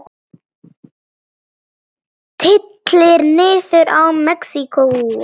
Tylltir niður tá í Mexíkó.